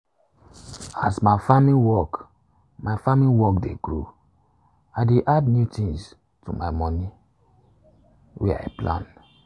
as my farming work my farming work dey grow i dey add new things to my moni wey i plan